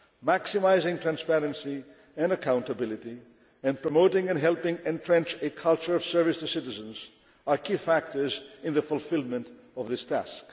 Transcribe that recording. Maximising transparency and accountability, and promoting and helping entrench a culture of service to citizens, are key factors in the fulfilment of this